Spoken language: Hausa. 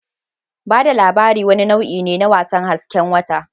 Ba da labari wani nau'i ne na wasan hasken wata